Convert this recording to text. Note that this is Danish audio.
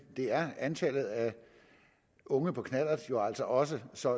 det er antallet af unge på knallert jo altså også så